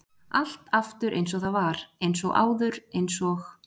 Allt aftur eins og það var- eins og áður- eins og-